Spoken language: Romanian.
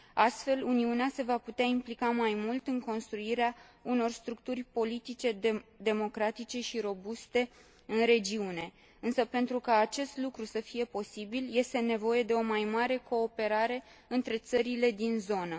Astfel, Uniunea se va putea implica mai mult în construirea unor structuri politice democratice și robuste în regiune. Însă, pentru ca acest lucru să fie posibil, este nevoie de o mai mare cooperare între țările din zonă.